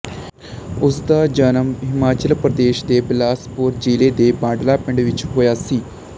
ਉਸ ਦਾ ਜਨਮ ਹਿਮਾਚਲ ਪ੍ਰਦੇਸ਼ ਦੇ ਬਿਲਾਸਪੁਰ ਜ਼ਿਲ੍ਹੇ ਦੇ ਬਾਂਡਲਾ ਪਿੰਡ ਵਿੱਚ ਹੋਇਆ ਸੀ